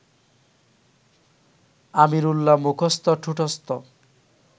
আমিরুল্লাহ মুখস্থ ঠোঁটস্থ